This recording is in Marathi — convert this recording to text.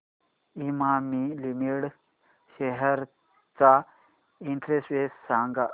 इमामी लिमिटेड शेअर्स चा इंडेक्स सांगा